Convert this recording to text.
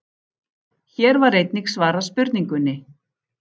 Hér var einnig svarað spurningunni: